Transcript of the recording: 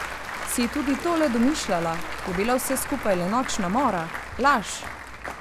Si je tudi to le domišljala, je bila vsa skupaj le nočna mora, laž?